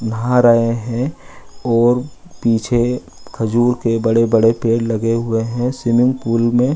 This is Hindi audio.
बाहर आए है और पीछे खजूर के बड़े-बड़े पेड़ लगे हुए है। स्विमिंग पूल मे --